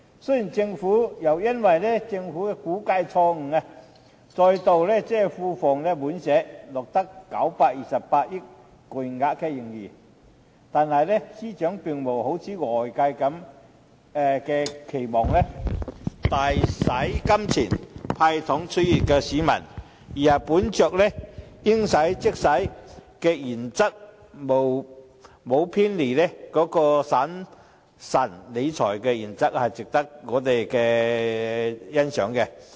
雖然又再因為政府估計錯誤，令庫房再度滿瀉，錄得928億元巨額盈餘，但司長並無好像外界期望般大灑金錢，"派糖"取悅市民，而是"應使則使"，沒有偏離審慎理財的原則，值得我們欣賞。